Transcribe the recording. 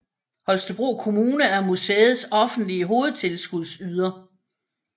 Holstebro Kommune er museets offentlige hovedtilskudsyder